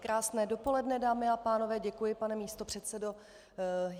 Krásné dopoledne dámy a pánové, děkuji pane místopředsedo.